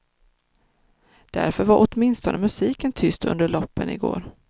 Därför var åtminstone musiken tyst under loppen i går.